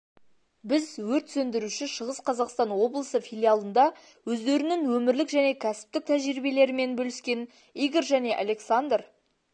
біз өрт сөндіруші шығыс қазақстан облысы филиалында өздерінің өмірлік және кәсіптік тәжірибелерімен бөліскен игорь және александр